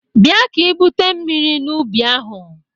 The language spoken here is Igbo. Bịa ka ibute mmiri n'ubi ahụ!